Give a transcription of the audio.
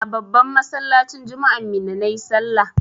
A babban masallacin juma'an Minna na yi sallah.